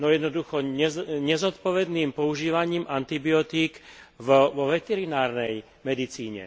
Jednoducho nezodpovedným používaním antibiotík vo veterinárnej medicíne.